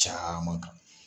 Caman kan